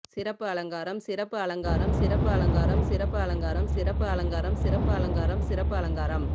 சிறப்பு அலங்காரம் சிறப்பு அலங்காரம் சிறப்பு அலங்காரம் சிறப்பு அலங்காரம் சிறப்பு அலங்காரம் சிறப்பு அலங்காரம் சிறப்பு அலங்காரம்